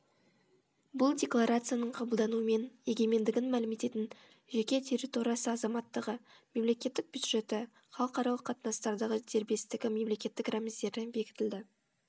бұл декларацияның қабылдануымен егемендігін мәлім ететін жеке территориясы азаматтығы мемлекеттік бюджеті халықаралық қатынастардағы дербестігі мемлекеттік рәміздері бекітілді